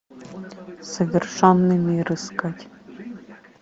совершенный мир искать